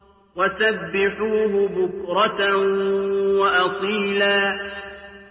وَسَبِّحُوهُ بُكْرَةً وَأَصِيلًا